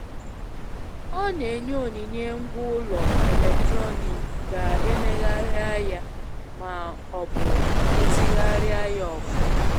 Ọ n'enye onyinye ngwaa ulo eletrọnịkị ka emegharịa ya ma ọ bụ rụzigharịa ya ọfuma